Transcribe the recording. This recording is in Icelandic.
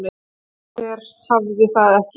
Hver hafði það ekki?